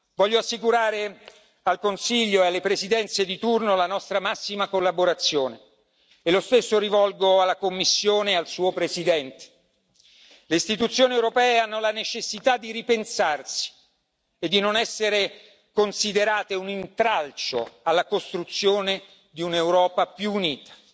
Voglio assicurare al Consiglio e alle presidenze di turno la nostra massima collaborazione e rivolgo lo stesso messaggio alla Commissione e al suo Presidente le istituzioni europee hanno la necessità di ripensarci e di non essere considerate un intralcio alla costruzione di un'Europa più unita.